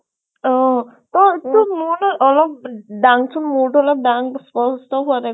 অহ তই তোৰ মূৰ নহয় অলপ হ দাংচোন, মূৰটো অলপ দাং স্প্ষ্ট হোৱা নাই